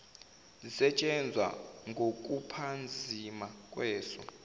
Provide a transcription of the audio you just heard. sisetshenzwa ngokuphazima kweso